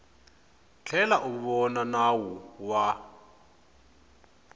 tlhela u vona nawu wa